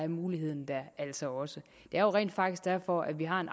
muligheden der altså også det er jo rent faktisk derfor at vi har en